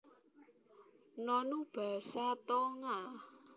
Nonu basa Tonga